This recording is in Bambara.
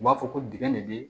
U b'a fɔ ko dingɛ de bɛ